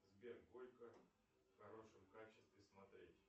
сбер горько в хорошем качестве смотреть